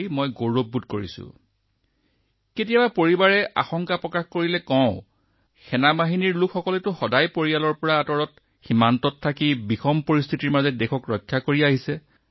কেতিয়াবা যেতিয়া আমাৰ পৰিয়ালৰ সদস্যসকলেও শংকা বা অলপ ভয় কৰে মই তেওঁলোকক মনত পেলাই দিওঁ যে আমাৰ বিপদাশংকা আমাৰ দেশৰ জোৱানসকলৰ তুলনাত কম যিসকলে সদায় তেওঁলোকৰ পৰিয়ালৰ পৰা আঁতৰত সীমাত অদ্ভূত আৰু অস্বাভাৱিক পৰিস্থিতিত দেশক সুৰক্ষা দি থাকে